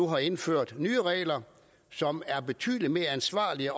har indført nye regler som er betydelig mere ansvarlige